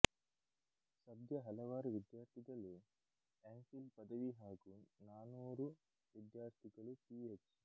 ಸದ್ಯ ಹಲವಾರು ವಿದ್ಯಾರ್ಥಿಗಳುಎಂ ಫಿಲ್ ಪದವಿ ಹಾಗೂ ನಾನೂರು ವಿದ್ಯಾರ್ಥಿಗಳು ಪಿಎಚ್